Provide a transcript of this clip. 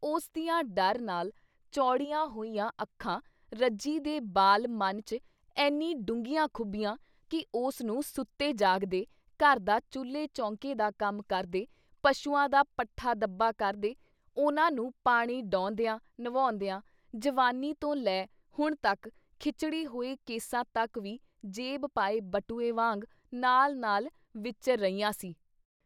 ਉਸ ਦੀਆਂ ਡਰ ਨਾਲ ਚੌੜੀਆਂ ਹੋਈਆਂ ਅੱਖਾਂ ਰੱਜੀ ਦੇ ਬਾਲ ਮਨ 'ਚ ਐਨੀਂ ਡੂੰਘੀਆਂ ਖੁੱਭੀਆਂ ਕਿ ਉਸਨੂੰ ਸੁੱਤੇ ਜਾਗਦੇ, ਘਰ ਦਾ ਚੁੱਲੇ ਚੌਂਕੇ ਦਾ ਕੰਮ ਕਰਦੇ, ਪਸ਼ੂਆਂ ਦਾ ਪੱਠਾ-ਦੱਬਾ ਕਰਦੇ, ਉਹਨਾਂ ਨੂੰ ਪਾਣੀ ਡਾਹੁੰਦਿਆਂ ਨਵਾਉਂਦਿਆਂ ਜਵਾਨੀ ਤੋਂ ਲੈ ਹੁਣ ਤੱਕ ਖਿਚੜੀ ਹੋਏ ਕੇਸਾਂ ਤੱਕ ਵੀ ਜੇਬ ਪਾਏ ਬਟੂਏ ਵਾਂਗ ਨਾਲ ਨਾਲ ਵਿਚਰ ਰਹੀਆਂ ਸੀ।